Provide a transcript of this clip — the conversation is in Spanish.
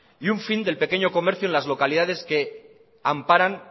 y un fin del pequeño comercio en las localidades que amparan